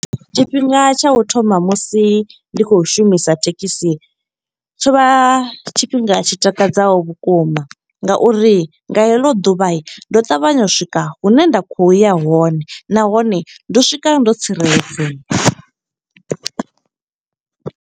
Tshifhinga tsha u thoma musi ndi khou shumisa thekhisi, tsho vha tshifhinga tshi takadzaho vhukuma. Nga uri nga heḽo ḓuvha ndo ṱavhanya u swika hune nda khou ya hone. Nahone, ndo swika ndo tsireledzea.